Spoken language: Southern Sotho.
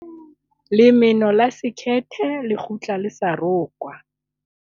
lemeno la sekhethe le kgutla le sa rokwa